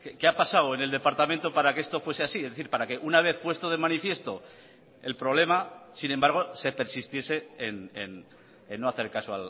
qué ha pasado en el departamento para que esto fuese así es decir para que una vez puesto de manifiesto el problema sin embargo se persistiese en no hacer caso